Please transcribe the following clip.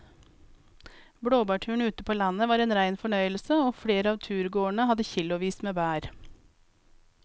Blåbærturen ute på landet var en rein fornøyelse og flere av turgåerene hadde kilosvis med bær.